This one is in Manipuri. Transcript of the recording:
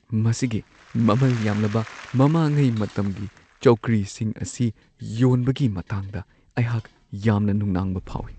ꯃꯁꯤꯒꯤ ꯃꯃꯜ ꯌꯥꯝꯂꯕ ꯃꯃꯥꯡꯉꯩ ꯃꯇꯝꯒꯤ ꯆꯧꯀ꯭ꯔꯤꯁꯤꯡ ꯑꯁꯤ ꯌꯣꯟꯕꯒꯤ ꯃꯇꯥꯡꯗ ꯑꯩꯍꯥꯛ ꯌꯥꯝꯅ ꯅꯨꯡꯅꯥꯡꯕ ꯐꯥꯎꯢ꯫